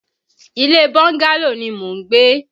Ilé bọ́ńgálò ni mò ń gbé